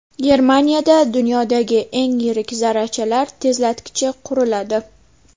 Germaniyada dunyodagi eng yirik zarrachalar tezlatkichi quriladi.